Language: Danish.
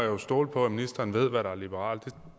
jo stole på at ministeren ved hvad der er liberalt